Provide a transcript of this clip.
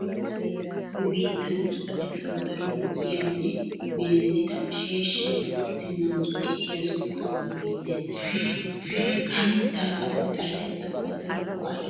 Nu biittan usttatettawu daro go''iya nne meezetettida sheeshshay attennan zo'issiya zo'o xaphoy beettes. Ha mittaa xaphoy xaletettawukka daro go'aa immees.